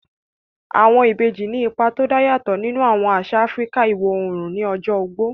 Àwọn ìbejì ní ipa tó dá yàtọ̀ nínú àwọn àṣà Áfíríkà iwọ̀ oòrùn ní ọjọ́ ogbó